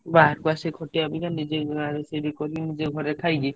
ବାହାରେ ଅଶି ଖଟିବା ଅପେକ୍ଷା ।